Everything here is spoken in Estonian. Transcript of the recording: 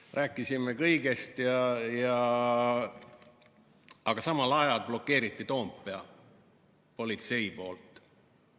Rääkisime kõigest, aga samal ajal blokeeris politsei Toompea.